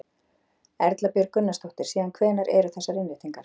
Erla Björg Gunnarsdóttir: Síðan hvenær eru þessar innréttingar?